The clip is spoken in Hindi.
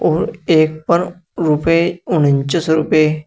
और एक पर रुपए उनचस रूपए--